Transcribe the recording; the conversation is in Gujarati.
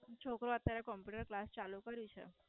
છોકરો અત્યારે Computer class ચાલુ કર્યું છે.